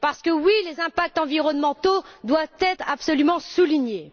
Parce que, oui, les impacts environnementaux doivent être absolument soulignés.